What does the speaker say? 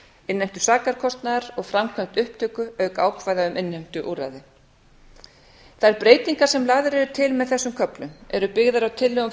innheimtu sakarkostnaðar og framkvæmd upptöku auk ákvæða um innheimtuúrræði þær breytingar sem lagðar eru til með þessum köflum eru byggðar á tillögum